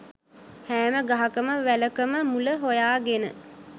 හෑම ගහකම වැලකම මුල හොයාගෙන